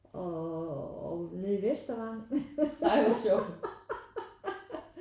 Og og nede i Vestervangen